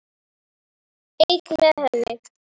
Einn með henni.